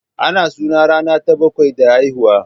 Ana suna ranar ta bakwai da haihuwa